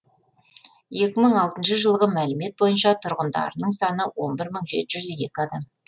екі мың алтыншы жылғы мәлімет бойынша тұрғындарының саны он бір мың жеті жүз екі адам